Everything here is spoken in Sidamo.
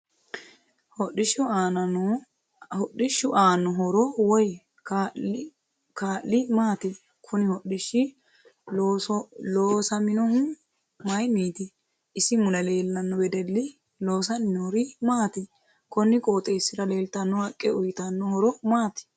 Hodhishu aano horo woy kaa'li maati kuni hodhishi loosaminohu mayiiniti isi mule leelano wedelli loosani noori maati konni qoxeesira leeltanno haqqe uyiitano horo maati